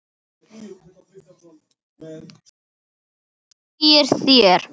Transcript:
Hvað segið þér?